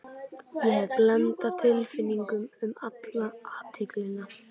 Ég hef blandað tilfinningum um alla athyglina.